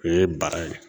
O ye bara ye